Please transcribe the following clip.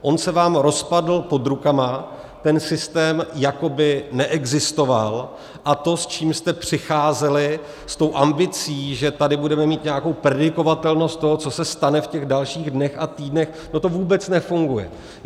On se vám rozpadl pod rukama, ten systém jako by neexistoval, a to, s čím jste přicházeli, s tou ambicí, že tady budeme mít nějakou predikovatelnost toho, co se stane v těch dalších dnech a týdnech, to tu vůbec nefunguje.